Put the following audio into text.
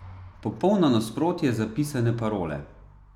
Popolno nasprotje zapisane parole.